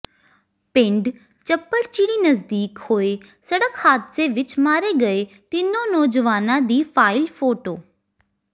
ਪਿੰਡ ਚੱਪੜਚਿੜੀ ਨਜ਼ਦੀਕ ਹੋਏ ਸੜਕ ਹਾਦਸੇ ਵਿੱਚ ਮਾਰੇ ਗਏ ਤਿੰਨੋਂ ਨੌਜਵਾਨਾਂ ਦੀ ਫਾਈਲ ਫੋਟੋ